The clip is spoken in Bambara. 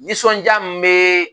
Nisɔndiya min bɛ